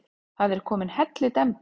Það er komin hellidemba.